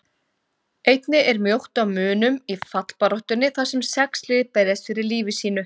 Einnig er mjótt á munum í fallbaráttunni þar sem sex lið berjast fyrir lífi sínu.